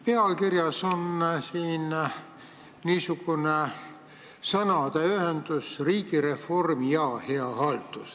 Pealkirjas on niisugune sõnaühend nagu "riigireform ja hea haldus".